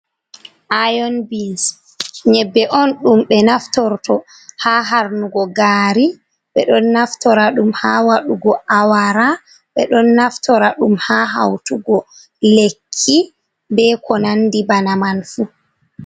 Iyon bins nyebbe on ɗum ɓe naftorto ha harnugo gari, ɓe ɗon naftora ɗum ha wadugo awara, ɓe ɗon naftora ɗum ha hautugo lekki be ko nandi bana man fu.